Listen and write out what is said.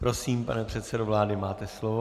Prosím, pane předsedo vlády, máte slovo.